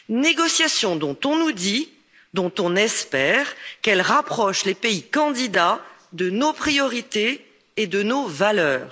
Négociations dont on nous dit, et dont on espère, qu'elles rapprochent les pays candidats de nos priorités et de nos valeurs.